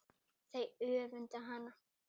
Þau öfunda hana.